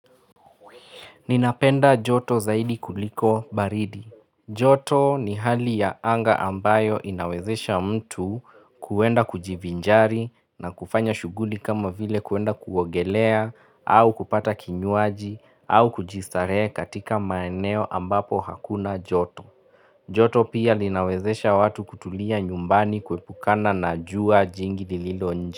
Ninapenda joto zaidi kuliko baridi. Joto ni hali ya anga ambayo inawezesha mtu kuenda kujivinjari na kufanya shuguli kama vile kuenda kuogelea au kupata kinyuaji au kujistarehe katika maeneo ambapo hakuna joto. Joto pia linawezesha watu kutulia nyumbani kuepukana na jua jingi lililo nje.